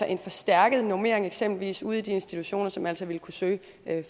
en forstærket normering eksempelvis ude i de institutioner som altså ville kunne søge